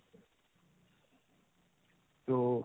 তো